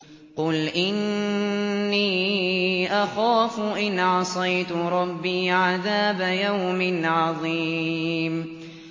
قُلْ إِنِّي أَخَافُ إِنْ عَصَيْتُ رَبِّي عَذَابَ يَوْمٍ عَظِيمٍ